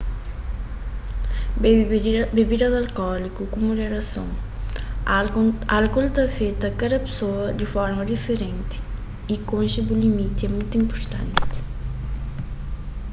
bebe bibidas alkóliku ku muderason álkol ta afeta kada pesoa di forma diferenti y konxe bu limiti é mutu inpurtanti